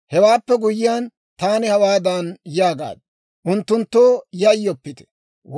« ‹Hewaappe guyyiyaan, taani hawaadan yaagaad; Unttunttoo yayyoppite